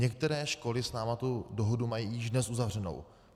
Některé školy s námi tu dohodu mají již dnes uzavřenu.